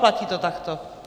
Platí to takto?